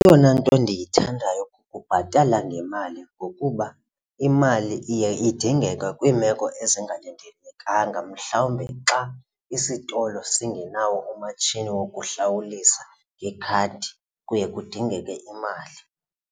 Eyona nto ndiyithandayo kukubhatala ngemali ngokuba imali iye idingeke kwiimeko ezingalindelekanga mhlawumbe xa isitolo singenawo umatshini wokuhlawulisa ngekhadi kuye kudingeke imali.